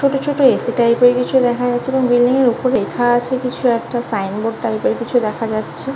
ছোট ছোট AC. Type -এর কিছু দেখা যাচ্ছে এবং বিল্ডিং -এর উপর লেখা আছে কিছু একটা সাইন বোর্ড টাইপ -এর কিছু দেখা যাচ্ছে।